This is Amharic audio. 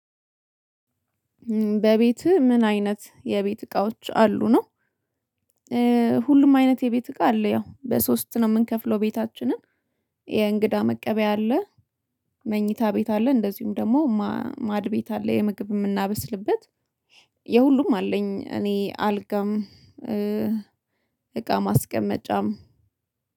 በቤትህ ምን አይነት የቤት እቃዎች አሉ ነው? ሁሉም አይነት የቤት እቃ አለ ያው በሶስት ነው የምንከፍለው ቤታችንን። የእንግዳ መቀበያ አለ። መኝታ ቤት አለ። እንደዚሁም ደግሞ ማድ ቤት አለ። የምግብ የምናበስልበት የሁሉም አለኝ። እኔ አልጋም እቃ ማስቀመጫም።